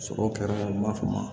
Sɔrɔ kɛra n b'a f'o ma